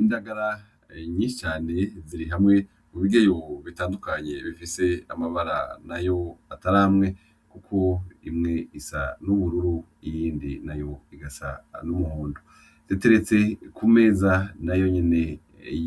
Indagara nyinshi cane ziri hamwe mu bigeyo bitandukanye bifise amabara nayo atari amwe kuko imwe isa n'ubururu iyindi nayo igasa n'umuhondo, iteretse ku meza nayo nyene